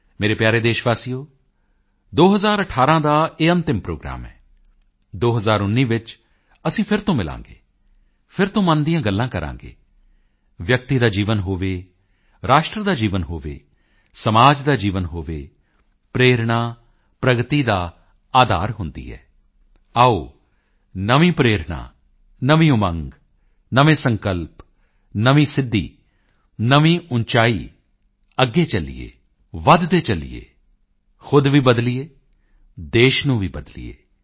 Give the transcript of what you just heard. ਮੇਰੇ ਪਿਆਰੇ ਦੇਸ਼ ਵਾਸੀਓ 2018 ਦਾ ਇਹ ਅੰਤਿਮ ਪ੍ਰੋਗਰਾਮ ਹੈ 2019 ਵਿੱਚ ਅਸੀਂ ਫਿਰ ਤੋਂ ਮਿਲਾਂਗੇ ਫਿਰ ਤੋਂ ਮਨ ਦੀਆਂ ਗੱਲਾਂ ਕਰਾਂਗੇ ਵਿਅਕਤੀ ਦਾ ਜੀਵਨ ਹੋਵੇ ਰਾਸ਼ਟਰ ਦਾ ਜੀਵਨ ਹੋਵੇ ਸਮਾਜ ਦਾ ਜੀਵਨ ਹੋਵੇ ਪ੍ਰੇਰਣਾ ਪ੍ਰਗਤੀ ਦਾ ਅਧਾਰ ਹੁੰਦੀ ਹੈ ਆਓ ਨਵੀਂ ਪ੍ਰੇਰਣਾ ਨਵੀਂ ਉਮੰਗ ਨਵੇਂ ਸੰਕਲਪ ਨਵੀਂ ਸਿੱਧੀ ਨਵੀਂ ਉਚਾਈ ਅੱਗੇ ਚੱਲੀਏ ਵਧਦੇ ਚੱਲੀਏ ਖੁਦ ਵੀ ਬਦਲੀਏ ਦੇਸ਼ ਨੂੰ ਵੀ ਬਦਲੀਏ